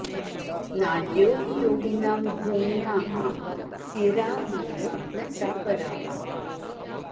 नाड्यो हि योगिनां ज्ञेयाः सिरा एव न चापराः